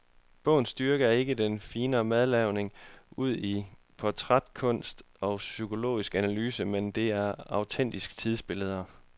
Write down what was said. Bogens styrke er ikke den finere madlavning udi portrætkunst og psykologisk analyse, men det autentiske tidsbillede.